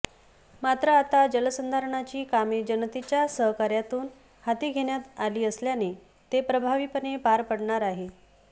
मात्र आता जलसंधारणाची कामे जनतेच्या सहकार्यातून हाती घेण्यात आली असल्याने ते प्रभावीपणे पार पडणार आहे